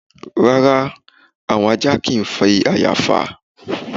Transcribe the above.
Rárá àwọn ajá kì í fàyà fà